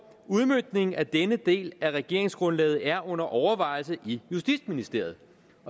udmøntningen af denne del af regeringsgrundlaget er under overvejelse i justitsministeriet